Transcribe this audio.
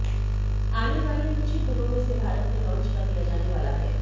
आने वाले कुछ ही दिनों में इसे भारत में लॉन्च कर दिया जाने वाला है